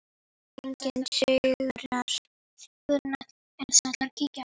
Ef enginn sigrar.